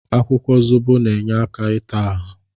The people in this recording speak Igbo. Akwụkwọ zobo na-enye aka ịta ahụ.